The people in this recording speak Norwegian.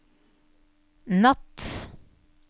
natt